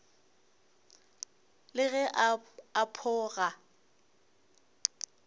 le ge a pho ga